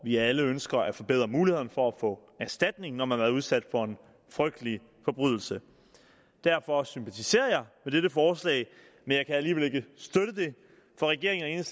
vi alle ønsker at forbedre mulighederne for at få erstatning når man har været udsat for en frygtelig forbrydelse derfor sympatiserer jeg med dette forslag men jeg kan alligevel ikke støtte det for regeringen